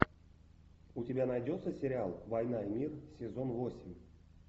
у тебя найдется сериал война и мир сезон восемь